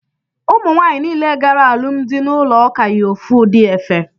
Ụmụ nwanyị niile gara alụmdị n'ụlọ ụka yi ofu udi efe